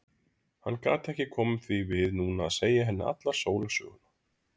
Hann gat ekki komið því við núna að segja henni alla sólarsöguna.